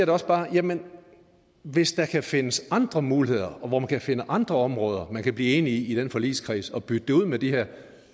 også bare jamen hvis der kan findes andre muligheder hvor man kan finde andre områder man kan blive enige i den forligskreds og bytte dem ud med de her